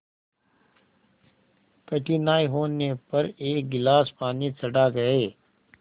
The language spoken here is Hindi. कठिनाई होने पर एक गिलास पानी चढ़ा गए